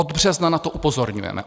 Od března na to upozorňujeme.